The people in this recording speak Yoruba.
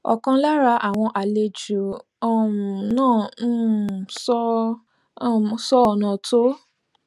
ọkan lára àwọn àlejò um náà um sọ ọnà um sọ ọnà tó